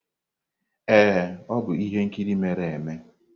Ee, ọ bụ ihe nkiri mere eme.